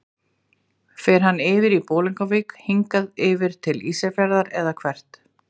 Fer hann yfir í Bolungarvík, hingað yfir til Ísafjarðar eða hvert?